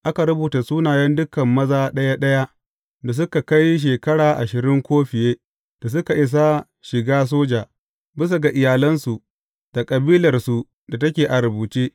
Aka rubuta sunayen dukan maza ɗaya ɗaya da suka kai shekara ashirin ko fiye da suka isa shiga soja, bisa ga iyalansu da kabilarsu da take a rubuce.